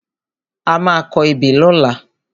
A má a kọ ebè lọ́la.